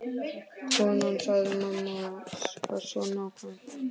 Konan sagði: Mamma var svo nákvæm.